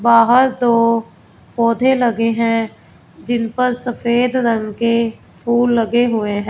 बाहर दो पौधे लगे हैं जिन पर सफेद रंग के फूल लगे हुए--